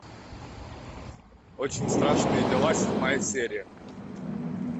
очень страшные дела седьмая серия